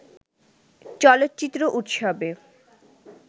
চলচ্চিত্র উৎসবে